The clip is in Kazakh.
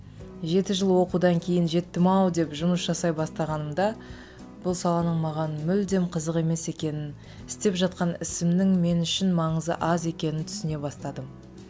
жеті жыл оқудан кейін жеттім ау деп жұмыс жасай бастағанымда бұл саланың маған мүлдем қызық емес екенін істеп жатқан ісімнің мен үшін маңызы аз екенін түсіне бастадым